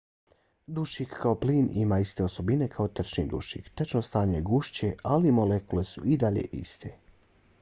dušik kao plin ima iste osobine kao tečni dušik. tečno stanje je gušće ali molekule su i dalje iste